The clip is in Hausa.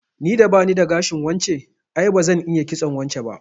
Ni da bani da gashin wance, ai bazan iya kitson wance ba